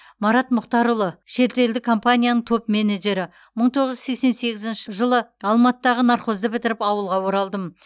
марат мұхтарұлы шетелдік компанияның топ менеджері мың тоғыз жүз сексен сегізінші жылы алматыдағы нархозды бітіріп ауылға оралдым